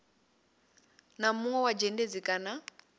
na munwe wa dzhendedzi kana